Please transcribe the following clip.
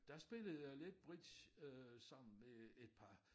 Der spillede jeg lidt bridge øh sammen med et par